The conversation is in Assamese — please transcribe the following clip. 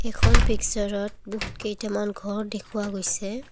এইখন পিকচাৰত বহুত কেইটামান ঘৰ দেখুওৱা গৈছে।